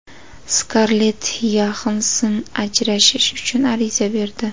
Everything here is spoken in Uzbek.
Skarlett Yoxansson ajrashish uchun ariza berdi.